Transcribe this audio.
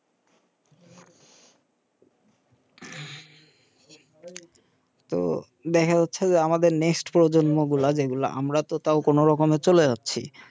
তো দেখা যাচ্ছে আমাদের প্রজন্ম গুলা যেগুলা আমরা তো তাও কোন রকমে চলে যাচ্ছি